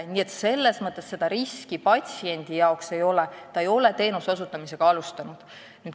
Nii et patsiendi jaoks siin riski ei ole, sest ta ei ole teenuse osutamist alustanud.